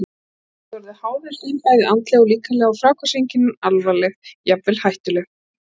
Menn geta orðið háðir þeim bæði andlega og líkamlega og fráhvarfseinkennin alvarleg, jafnvel hættuleg.